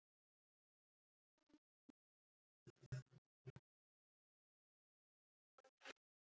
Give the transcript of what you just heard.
Ég óska honum góðrar ferðar.